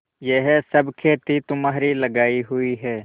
यह सब खेती तुम्हारी लगायी हुई है